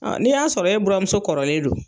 Ɔ n'i y'a sɔrɔ e buramuso kɔrɔlen don